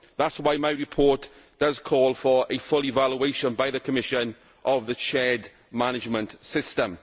That is why my report does call for a full evaluation by the Commission of the shared management system.